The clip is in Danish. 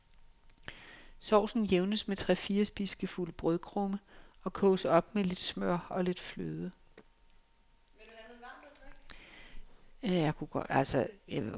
Sovsen jævnes med tre-fire spiseskefulde brødkrumme, og koges op med lidt smør og lidt fløde.